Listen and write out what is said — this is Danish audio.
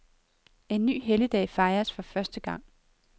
En ny helligdag fejres for første gang.